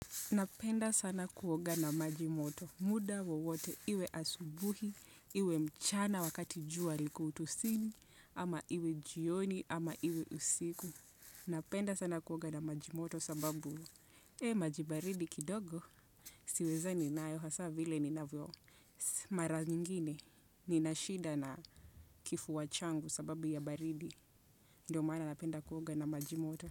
Napenda sana kuoga na majimoto. Muda wowote iwe asubuhi, iwe mchana wakati jua liko utosini, ama iwe jioni, ama iwe usiku. Napenda sana kuoga na majimoto sababu, ee majibaridi kidogo, siwezani nayo hasa vile ni navyo. Mara nyingine, ni nashida na kifuwa changu sababu ya baridi. Ndo maana napenda kuoga na majimoto.